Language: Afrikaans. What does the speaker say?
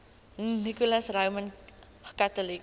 nicholas roman catholic